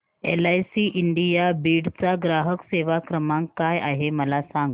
LIC India Beed चा ग्राहक सेवा क्रमांक काय आहे मला सांग